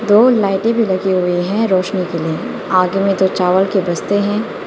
दो लाइटें भी लगे हुए हैं रोशनी के लिए आगे में जो चावल के बस्ते हैं।